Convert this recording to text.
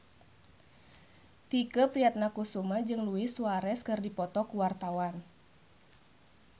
Tike Priatnakusuma jeung Luis Suarez keur dipoto ku wartawan